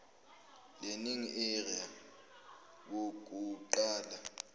learning area yokuqapha